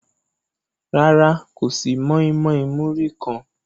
Rárá, kò sí mọ́ímọ́í múrí kan.